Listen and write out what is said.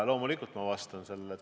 Loomulikult ma vastan teile.